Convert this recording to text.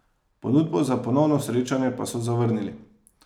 Ponudbo za ponovno srečanje pa so zavrnili.